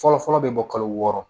Fɔlɔ fɔlɔ bɛ bɔ kalo wɔɔrɔ